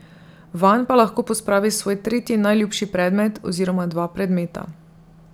Vanj pa lahko pospravi svoj tretji najljubši predmet oziroma dva predmeta.